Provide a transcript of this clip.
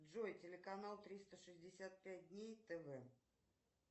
джой телеканал триста шестьдесят пять дней тв